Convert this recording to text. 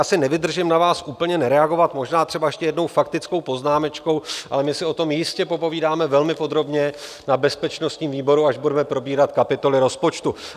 Asi nevydržím na vás úplně nereagovat, možná třeba ještě jednou faktickou poznámečkou, ale my si o tom jistě popovídáme velmi podrobně na bezpečnostním výboru, až budeme probírat kapitoly rozpočtu.